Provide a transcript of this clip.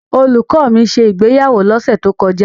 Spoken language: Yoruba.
Olùkọ́ mi ṣe ìgbéyàwó lọ́sẹ̀ tó kọjá.